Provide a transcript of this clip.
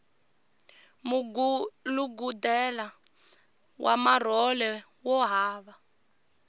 mugulugudela wa marhole wo hava